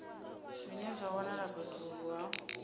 zwine zwa wanala fhethu ha